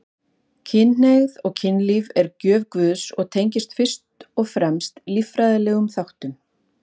Kynhneigðin og kynlífið er gjöf Guðs og tengist fyrst og fremst líffræðilegum þáttum.